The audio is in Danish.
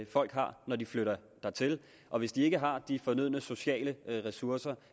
folk har når de flytter dertil og hvis de ikke har de fornødne sociale ressourcer